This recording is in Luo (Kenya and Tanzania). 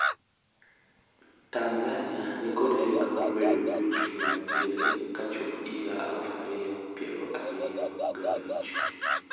Tanzania nikod lek mar bedo gi uchumi madiere kachop higa aluf ariyo piero ariyo gabich.